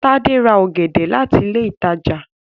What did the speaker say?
Tade rà ògèdè láti ilé ìtàjà